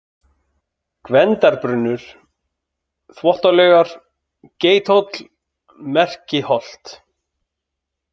Gvendarbrunnur, Þvottalaugar, Geithóll, Merkiholt